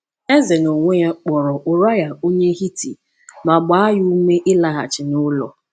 Eze n’onwe ya kpọrọ Uriah onye Hiti ma gbaa ya ume ịlaghachi n’ụlọ.